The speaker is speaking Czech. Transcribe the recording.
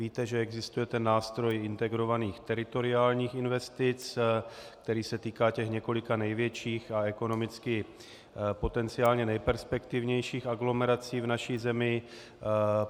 Víte, že existuje nástroj integrovaných teritoriálních investic, který se týká těch několika největších a ekonomicky potenciálně nejperspektivnějších aglomerací v naší zemi.